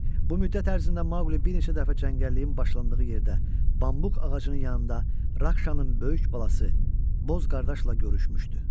Bu müddət ərzində Maqli bir neçə dəfə cəngəlliyin başlandığı yerdə, bambuq ağacının yanında Rakşanın böyük balası Boz qardaşla görüşmüşdü.